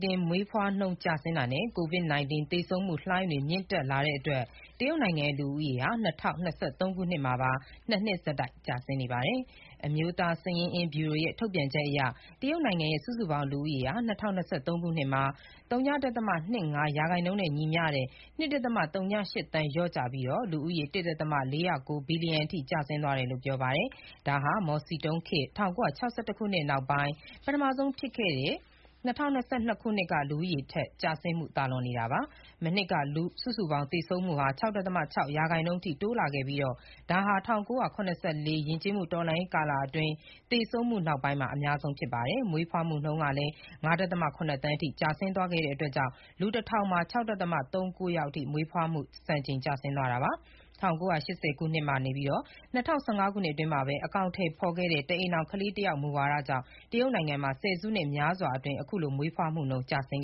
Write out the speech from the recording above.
တင်မွေးဖွားနှုန်းနိမ့်ကျဆင်းတာနဲ့ COVID-19 သေဆုံးမှုလှိုင်းတွေ မြင့်တက်လာတဲ့အတွက် တရုတ်နိုင်ငံရဲ့ လူဦးရေဟာ ၂၀၂၃ ခုနှစ်မှာပါ ၂ နှစ်ဆက်တိုက်ကျဆင်းနေပါတယ်။ အမျိုးသားစာရင်းအင်းဗျူရိုရဲ့ ထုတ်ပြန်ချက်အရ တရုတ်နိုင်ငံရဲ့ စုစုပေါင်း လူဦးရေဟာ ၂၀၂၃ ခုနှစ်မှာ ၀.၂၅% နဲ့ ညီမျှတဲ့ ၂.၀၈ သန်း လျော့ကျပြီး လူဦးရေ ၁.၄၀၉ ဘီလီယံအထိ ကျဆင်းသွားတယ်လို့ ပြောပါတယ်။ ဒါဟာ မော်စီတုံးလက်ထက် ၁၉၆၁ ခုနှစ်မှာ ငတ်မွတ်ခေါင်းပါးမှုကြီးနဲ့ ရင်ဆိုင်ခဲ့ရပြီးနောက်ပိုင်း ၂၀၂၂ ခုနှစ် လူဦးရေတိုးပွားတဲ့နှုန်း ကျဆင်းမှုက ပထမဆုံးအကြိမ် ကျော်လွန်သွားတာ ဖြစ်ပါတယ်။ မနှစ်က စုစုပေါင်း သေဆုံးမှုဟာ ၆.၆ ရာခိုင်နှုန်းအထိ တိုးလာခဲ့ပြီး၊ ဒါဟာ ၁၉၇၄ ယဉ်ကျေးမှု တော်လှန်ရေးကာလအတွင်း သေဆုံးမှုနောက်ပိုင်း အများဆုံးဖြစ်တယ်လို့ ဆိုပါတယ်။ မွေးဖွားမှုနှုန်းကလည်း ၅.၇ သန်းအထိ ကျဆင်းသွားခဲ့တာကြောင့် လူ ၁,၀၀၀ မှာ ၆.၃၉ ယောက်အထိ မွေးဖွားမှု စံချိန်တင် ကျဆင်းသွားတာပါ။ ၁၉၈၀ ခုနှစ်ကနေ ၂၀၁၅ ခုနှစ်အတွင်းမှာ အကောင်အထည်ဖော်ခဲ့တဲ့ တအိမ်ထောင် ခလေးတယောက် မူဝါဒကြောင့် တရုတ်နိုင်ငံမှာ ဆယ်စုနှစ်များစွာအတွင်း အခုလို ကလေးမွေးဖွားမှုနှုန်း ကျဆင်း